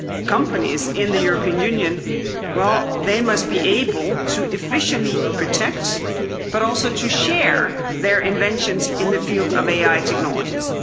Companies in the European Union, must be able to efficiently protect but also to share their inventions in the field of AI technologies.